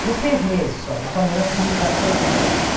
Foi seis meses só, nós só moramos em Rio Claro seis meses.